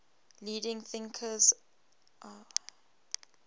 leading thinkers laozi